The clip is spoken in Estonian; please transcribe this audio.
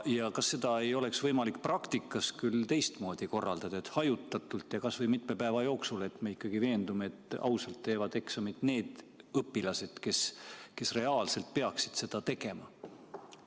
Ja kas eksameid ei oleks võimalik praktikas kuidagi teistmoodi korraldada, näiteks hajutatult ja kas või mitme päeva jooksul, et saaks kindel olla, et ausalt teevad eksamit need õpilased, kes peaksid seda tegema?